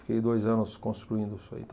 Fiquei dois anos construindo isso aí.